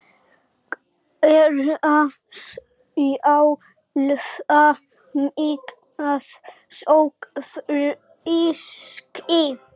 Gera sjálfa mig að sogfiski.